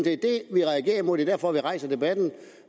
vi reagerer imod er derfor vi rejser debatten